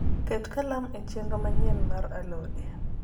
ket kalam e cenro manyien mar alode